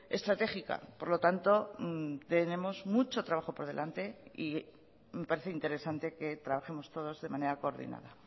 estratégica por lo tanto tenemos mucho trabajo por delante y me parece interesante que trabajemos todos de manera coordinada